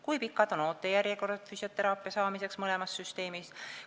Kui pikad on ootejärjekorrad füsioteraapia saamiseks mõlemas süsteemis?